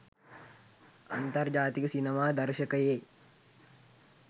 අන්තර්ජාතික සිනමා දර්ශකයේ